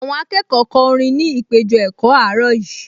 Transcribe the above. Àwọn akẹ́kọ̀ọ kọ orin ní ìpéjọ-ẹ̀kọ́ àárọ̀ yìí